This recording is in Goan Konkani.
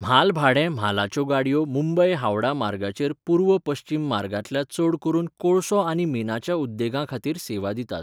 म्हालभाडें म्हालाच्यो गाडयो मुंबय हावड़ा मार्गाचेर पूर्व पश्चिम मार्गांतल्या चड करून कोळसो आनी मिनाच्या उद्देगांखातीर सेवा दितात.